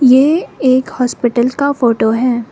ये एक हॉस्पिटल का फोटो है।